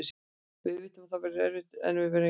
Við vitum að þetta verður erfitt en við erum jákvæðir.